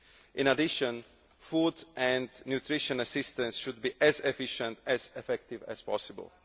In addition, food and nutrition assistance should be as efficient and as effective as possible.